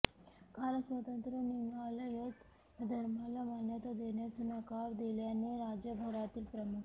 कारण स्वतंत्र लिंगायत धर्माला मान्यता देण्यास नकार दिल्याने राज्यभरातील प्रमुख